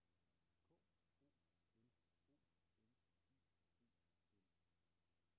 K O L O N I E N